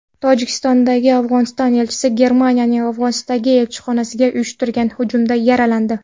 Tojikistondagi Afg‘oniston elchisi Germaniyaning Afg‘onistondagi elchixonasiga uyushtirilgan hujumda yaralandi.